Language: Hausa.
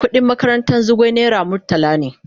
Kudin makarantan Zugwai naira murtala ne.